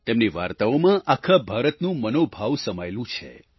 તેમની વાર્તાઓમાં આખા ભારતનું મનોભાવ સમાયેલું છે